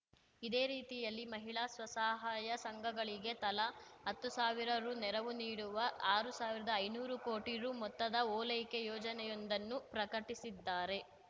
ಇದೇ ರೀತಿಯಲ್ಲಿ ಮಹಿಳಾ ಸ್ವಸಹಾಯ ಸಂಘಗಳಿಗೆ ತಲಾ ಹತ್ತು ಸಾವಿರ ರು ನೆರವು ನೀಡುವ ಆರು ಸಾವಿರ್ದಾ ಐನೂರು ಕೋಟಿ ರು ಮೊತ್ತದ ಓಲೈಕೆ ಯೋಜನೆಯೊಂದನ್ನು ಪ್ರಕಟಿಸಿದ್ದಾರೆ